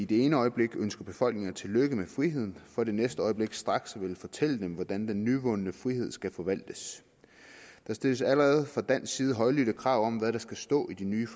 det ene øjeblik ønsker befolkninger tillykke med friheden for det næste øjeblik straks at ville fortælle dem hvordan den nyvundne frihed skal forvaltes der stilles allerede fra dansk side højlydte krav om hvad der skal stå i de nye